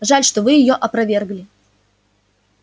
жаль что вы её опровергли